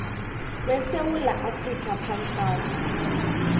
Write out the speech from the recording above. wesewula afrika pansalb